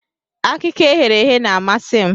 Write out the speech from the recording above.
Akịka eghere eghe na-amasị m.